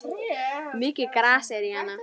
Mikið gras er í Hana.